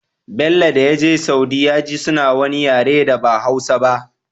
Bello dayaje saudi yaji suna wani yare da ba hausa ba